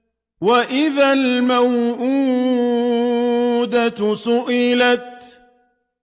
وَإِذَا الْمَوْءُودَةُ سُئِلَتْ